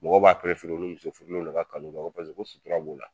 Mɔgɔw b'a perefere u ni musofurulenw ne ka kanu kɛ ko sutura b'o la